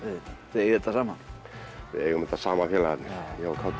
þið eigið þetta saman við eigum þetta saman félagarnir ég og kátur